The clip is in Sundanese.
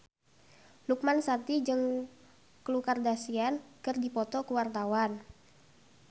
Lukman Sardi jeung Khloe Kardashian keur dipoto ku wartawan